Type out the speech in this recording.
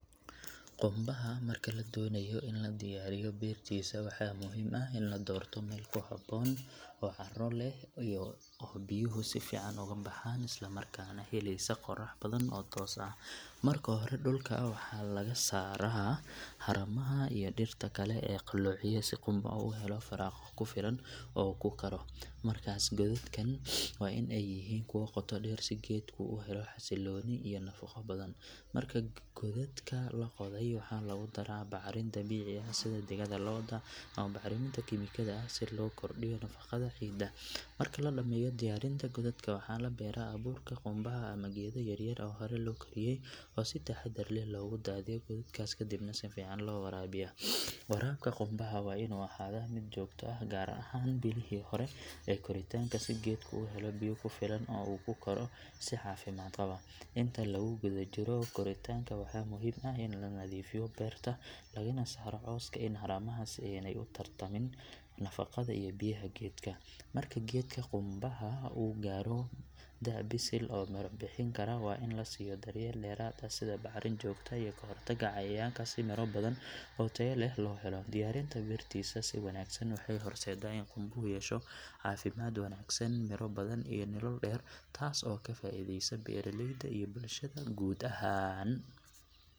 Qumbaha marka la doonayo in la diyaariyo bertiisa waxa muhiim ah in la doorto meel ku habboon oo carro leh oo biyuhu si fiican uga baxaan isla markaana helaysa qorrax toos ah. Marka hore dhulka waxaa laga saaraa haramaha iyo dhirta kale ee qalloociya si qumbaha u helo firaaqo ku filan oo uu ku koro. Markaas kadib waxaa la qodaa godad ballaaran oo ku filan in xididka qumbaha si fiican ugu fido godadkaas godadkan waa in ay yihiin kuwo qoto dheer si geedku u helo xasillooni iyo nafaqo badan. Marka godadka la qoday waxaa lagu daraa bacrin dabiici ah sida digada lo’da ama bacriminta kiimikada ah si loo kordhiyo nafaqada ciidda. Marka la dhammeeyo diyaarinta godadka waxaa la beeraa abuurka qumbaha ama geedo yaryar oo hore loo koriye oo si taxaddar leh loogu daadiyo godadkaas kadibna si fiican loo waraabiyaa. Warabka qumbaha waa inuu ahaadaa mid joogto ah gaar ahaan bilihii hore ee koritaanka si geedku u helo biyo ku filan oo uu ku koro si caafimaad qaba. Inta lagu guda jiro koritaanka waxaa muhiim ah in la nadiifiyo beerta lagana saaro cawska iyo haramaha si aanay u tartamin nafaqada iyo biyaha geedka. Marka geedka qumbaha uu gaadho da’ bisil oo miro bixin kara waa in la siiyo daryeel dheeraad ah sida bacrin joogto ah iyo ka hortagga cayayaanka si miro badan oo tayo leh loo helo. Diyaarinta bertiisa si wanaagsan waxay horseedaa in qumbuhu yeesho caafimaad wanaagsan, miro badan iyo nolol dheer taas oo ka faa’iideysa beeraleyda iyo bulshada guud ahaan.